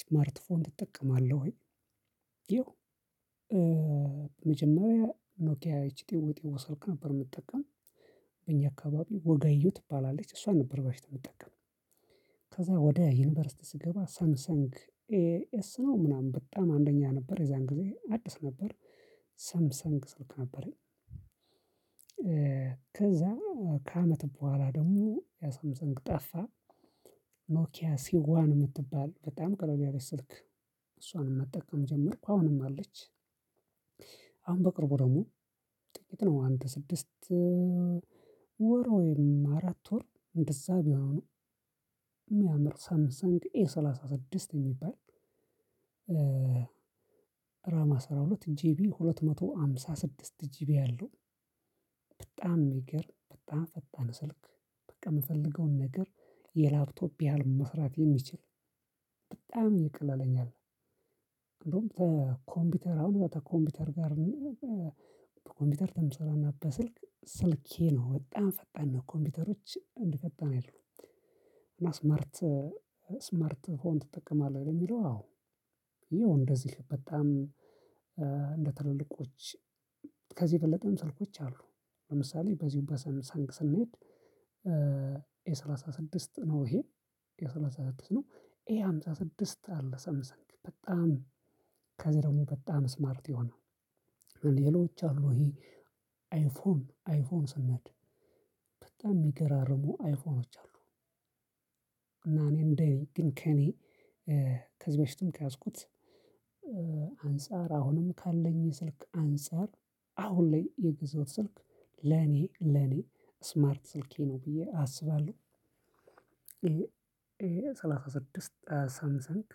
ስማርት ፎን ትጠቀማለህ ወይ? ያው መጀመሪያ ኖኪያ ይቺ ጢው ጢው ስልክ ነበር የምጠቀም። በእኛ አካባቢ ወጋየሁ ትባላለች እሷን ነበር በፊት የምትጠቀመው። ከዛ ወደ ዩኒቨርሲቲ ስገባ ሳምሰንግ። ኤስ ነው ምናምን በጣም አንደኛ ነበር የዛን ጊዜ አዲስ ነበር። ሰምሰንግ ስልክ ነበረኝ። ከዛ ከአመት በኋላ ደግሞ ያ ሳምሰንግ ጠፋ። ኖኪያ ሲዋን የምትባል በጣም ቀለል ያለች ስልክ። እሷንም መጠቀም ጀመርኩ አሁንም አለች። አሁን በቅርቡ ደግሞ ጥቂት ነው አንድ ስድስት ወር ወይም አራት ወር እንደዛ ቢሆን ነው። የሚያምር ሳምንት ሳምሰንግ ኤ ሰላሳ ስድስት የሚባል። ራማ አስራ ሁለት ጂቢ ሁለት መቶ ሃምሳ ስድስት ጂቢ ያለው። በጣም ይገርም በጣም ፈጣን ስልክ በቃ የምፈልገውን ነገር የላፕቶፕ ያህል መስራት የሚችል ይቅለለኛል። እንደውም ተኮምፒውተር አሁን ተኮምፒውተር ጋር በኮምፒውተር ተምሰራና በስልክ ስልኬ ነው በጣም ፈጣን ነው ኮምፒውተሮች አንዲፈጣን አይደሉም። እና ስማርት ስማርት ፎን ትጠቀማለህ የሚለው አወ? ያው እንደዚህ በጣም እንደ ትልልቆች ከዚህ የበለጠ ስልኮች አሉ። ለምሳሌ በዚሁ በሳምሰንግ ስንሄድ ኤሰላሳ ስድስት ነው ይሄን ኤሰላሳ ስድስት ነው። ኤሃምሳ ስድስት አለ ሰምሰንት በጣም ከዚህ ደግሞ በጣም ስማርት የሆነ ሌሎች አሉ። ይሄ አይፎን አይፎን ስነድ በጣም የሚገራርሙ አይፎኖች አሉ። እና እኔ እንደኔ ግን ከኔ ከዚህ በፊትም ከያዝኩት አንፃር አሁንም ካለኝ ስልክ አንፃር አሁን ላይ የገዛው ስልክ ለኔ ለኔ ስማርት ስልኬ ነው ብዬ አስባለሁ። ኤ ኤሰላሳ ስድስት ሳምሰንግ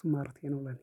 ስማርቴ ነው ለኔ